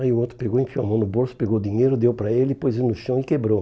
Aí o outro pegou, enfiou a mão no bolso, pegou o dinheiro, deu para ele, pôs ele no chão e quebrou.